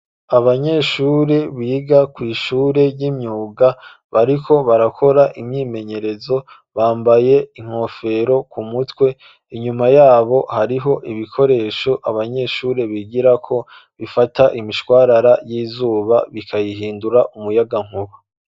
Abanyeshuri biga kw'ishure ry'imyuga bariko barakora imyimenyerezo bambaye inkofero ku mutwe inyuma yabo hariho ibikoresho abanyeshuri bigira ko bifata imishwarara y'izuba bikayihindura umuyagankuba.